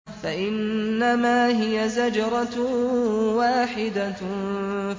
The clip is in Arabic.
فَإِنَّمَا هِيَ زَجْرَةٌ وَاحِدَةٌ